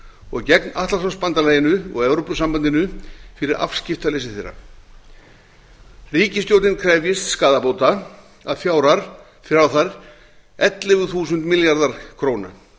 og gegn atlantshafsbandalaginu og evrópusambandinu fyrir afskiptaleysi þeirra ríkisstjórnin krefjist skaðabóta að fjárhæð ellefu þúsund milljarðar króna